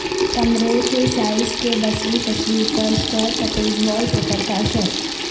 کمرے کے سائز کے بصری تصور پر سٹرپٹیز وال پیپر کا اثر